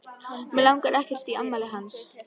Mig langar ekkert í afmælið hans.